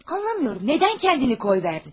Anlamıram, nədən özünü boşladın?